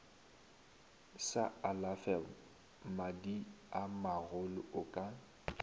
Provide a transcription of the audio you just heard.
sa alafe madiamagolo o ka